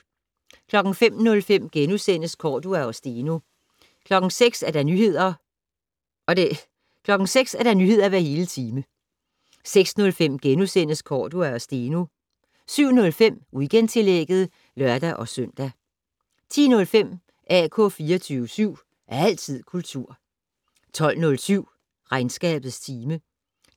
05:05: Cordua og Steno * 06:00: Nyheder hver hele time 06:05: Cordua og Steno * 07:05: Weekendtillægget (lør-søn) 10:05: AK 24syv. Altid kultur 12:07: Regnskabets time